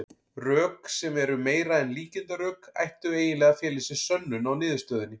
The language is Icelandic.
Rök, sem eru meira en líkindarök, ættu eiginlega að fela í sér sönnun á niðurstöðunni.